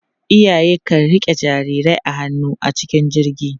Iyaye kan riƙe jarirai a hannu a cikin jirgi.